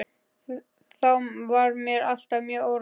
Þá var mér alltaf mjög órótt.